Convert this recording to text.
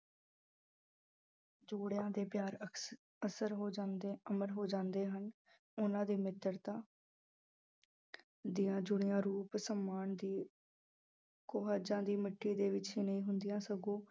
ਜੋੜਿਆਂ ਦੇ ਪਿਆਰ ਅਕਸ ਅਸਰ ਹੋ ਜਾਂਦੇ ਅਮਰ ਹੋ ਜਾਂਦੇ ਹਨ ਉਹਨਾਂ ਦੀ ਮਿਤਰਤਾ ਦੀਆਂ ਜੁੜਿਆ ਰੂਪ ਸਮਾਨ ਦੀ ਕੁਹਝਾਂ ਦੀ ਮਿੱਟੀ ਦੇ ਵਿੱਚ ਹੀ ਨਹੀਂ ਹੁੰਦੀਆਂ ਸਗੋਂ